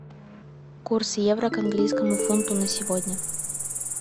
курс евро к английскому фунту на сегодня